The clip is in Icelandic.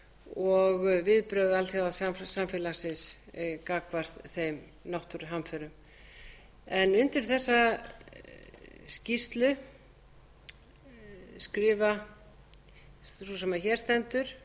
á vorþinginu og viðbrögð alþjóðasamfélagsins gagnvart þeim náttúruhamförum undir þessa skýrslu skrifa sú sem hér stendur